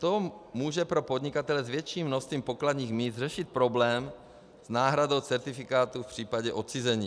To může pro podnikatele s větším množstvím pokladních míst řešit problém s náhradou certifikátu v případě odcizení.